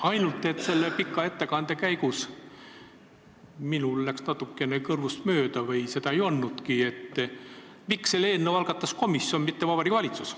Ainult et selle pika ettekande käigus läks minul kõrvust mööda või seda ei öeldudki, miks selle eelnõu algatas komisjon, mitte Vabariigi Valitsus.